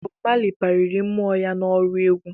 Bob Marley kpaliri mmou ya n'ọrụ egwu